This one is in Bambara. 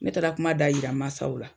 Ne taara kuma da yira maasaw la.